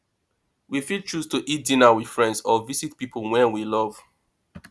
we fit choose to eat dinner with friends or visit pipo wey we love